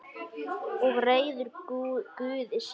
Og reiður Guði sínum.